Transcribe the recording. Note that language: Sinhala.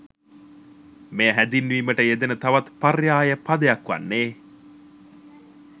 මෙය හැඳින්වීමට යෙදෙන තවත් පර්යාය පදයක් වන්නේ